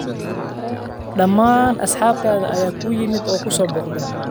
Dhammaan asxaabtaada ayaa kuu yimid oo ku soo booqdeen.